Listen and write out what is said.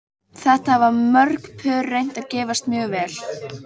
Þetta hafa mörg pör reynt og gefist mjög vel.